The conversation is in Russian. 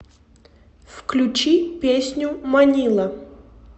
включи песню манила